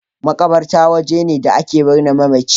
Maƙabarta waje ne da ake birne mamaci.